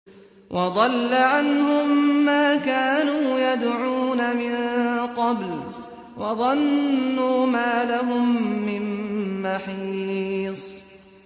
وَضَلَّ عَنْهُم مَّا كَانُوا يَدْعُونَ مِن قَبْلُ ۖ وَظَنُّوا مَا لَهُم مِّن مَّحِيصٍ